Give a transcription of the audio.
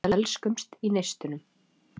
Við elskumst í neistunum.